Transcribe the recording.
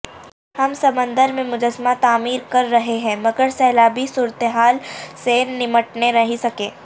ہم سمندر میں مجسمہ تعمیر کر رہے ہیں مگرسیلابی صورتحال سے نمٹنے نہیں سکے